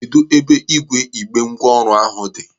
Kedụ ebe ígwè igbe ngwa ọrụ ahụ dị?